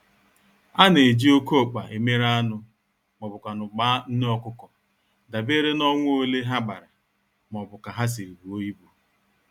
Ana-eji oké-ọkpa emere anụ, m'ọbu kwanụ gbaa nné ọkụkọ, dabeere n'ọnwa ole ha gbara m'obu ka ha siri buo ibu.